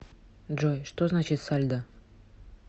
джой что значит сальдо